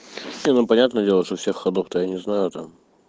все ну понятное дело что всех ходов то я не знаю там